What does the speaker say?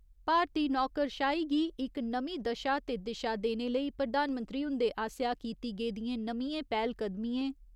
भारती नौकरशाही गी इक नमीं दशा ते दिशा देने लेई प्रधानमंत्री हुंदे आसेआ कीती गेदिएं नमियां पैह्‌लकदमिएं